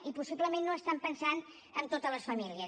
i possiblement no estan pensant en totes les famílies